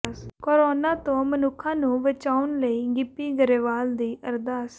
corona ਤੋਂ ਮਨੁੱਖਾਂ ਨੂੰ ਬਚਾਉਣ ਲਈ ਗਿੱਪੀ ਗਰੇਵਾਲ ਦੀ ਅਰਦਾਸ